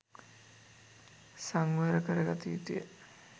සංවර කරගත යුතුය.